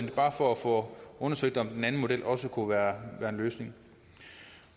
er bare for at få undersøgt om den anden model også kunne være en løsning